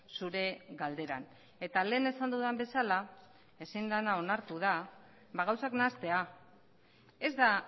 zure galderan eta lehen esan dudan bezala ezin dena onartu da gauzak nahastea ez da